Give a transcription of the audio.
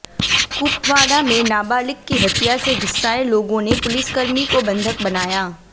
कुपवाड़ा में नाबालिग की हत्या से गुस्साए लोगों ने पुलिसकर्मी को बंधक बनाया